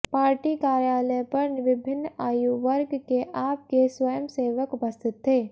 party कार्यालय पर विभिन्न आयु वर्ग के आप के स्वयंसेवक उपस्थित थे